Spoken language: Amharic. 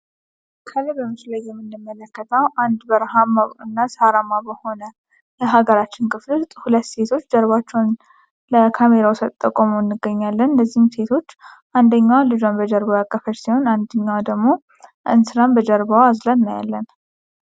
ከላይ በምስሉ ላይ የምንመለከተው አንድ በረሃማ እና ሳራማ በሆነ በሀገራችን ክፍል ውስጥ ሁለት ሴቶች ጀርባቸውን ለካሜራው ሰጥተው ቆመው እናገኛለን። እነዚህም ሴቶች አንደኛዋ ልጇን በጀርባ ያቀፈች ሲሆን ደግሞ እንስራን በጀርባ አዝላ እናያለን።